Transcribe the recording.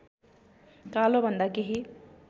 कालोभन्दा केही